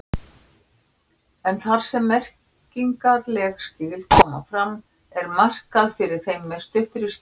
En þar sem merkingarleg skil koma fram er markað fyrir þeim með stuttri skýringu.